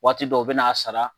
Waati dɔw u bɛna a sara